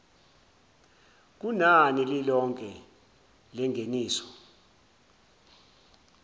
kunani lilonke lengeniso